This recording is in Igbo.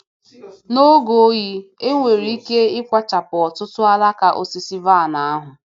N’oge oyi, e nwere ike ịkwachapụ ọtụtụ alaka osisi vaịn ahụ